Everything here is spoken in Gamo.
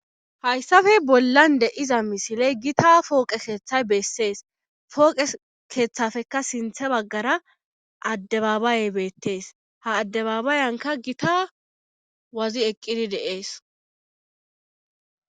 Hayssafe bollan deiza misiley gita pooqe keeththay bessees fooqe keeththafeka sinthe baggara addebabayey beettees ha addebabayanka gita wazi eqqidi dees.